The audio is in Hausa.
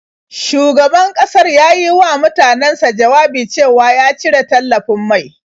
Shugaban ƙasar ya yi wa mutanansa jawabi cewa ya cire tallafin mai.